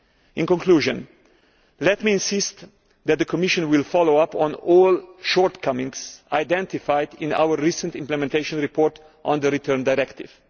In conclusion, let me insist that the Commission will follow up on all shortcomings identified in our recent implementation report on the Return Directive.